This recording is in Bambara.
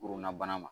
Bonna bana ma